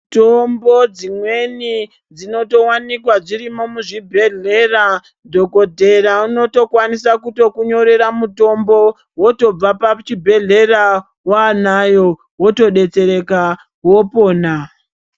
Mitombo dzimweni dzinotowanikwa dzirimo muzvibhedhlera, dhokodhera unotokwanisa kutokunyorera mutombo wotobva pachibhedhlera wanayo wotodetsereka wopona.